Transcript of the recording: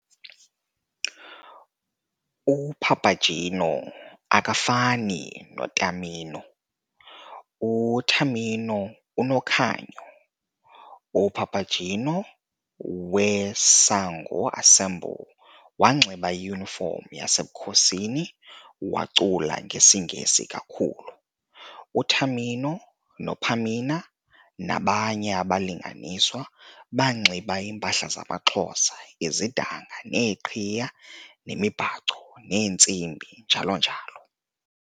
UPapageno akafani noTamino, uTamino unokhanyo UPapageno weSango Ensemble wanxiba iyunifomu yasemkhosini, wacula ngesiNgesi kakhulu. UTamino noPamina nabanye abalinganiswa banxiba iimpahla zamaXhosa- izidanga neeqhiya nemibhaco neentsimbi njalo njalo.